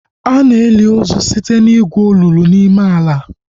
Ana eli ozu site na igwu olulu n'ime ala